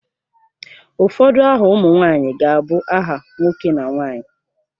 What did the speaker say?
Ụfọdụ aha ụmụ nwanyị ga-abụ aha nwoke na nwaanyị.